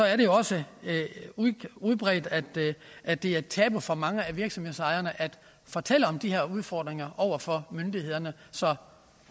er jo også udbredt at det er et tabu for mange af virksomhedsejerne at fortælle om de her udfordringer over for myndighederne så